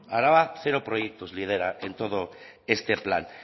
araba cero proyectos lidera en todo este plan